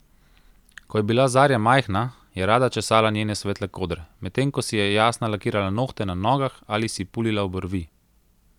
Ko je bila Zarja majhna, je rada česala njene svetle kodre, medtem ko si je Jasna lakirala nohte na nogah ali si pulila obrvi.